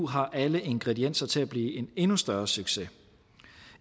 har alle ingredienser til at blive en endnu større succes